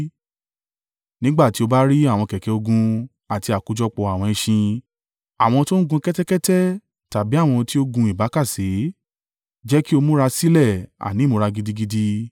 Nígbà tí ó bá rí àwọn kẹ̀kẹ́ ogun àti àkójọpọ̀ àwọn ẹṣin, àwọn tó ń gun kẹ́tẹ́kẹ́tẹ́ tàbí àwọn tí ó gun ìbákasẹ, jẹ́ kí ó múra sílẹ̀, àní ìmúra gidigidi.”